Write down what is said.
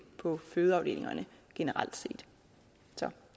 på fødeafdelingerne generelt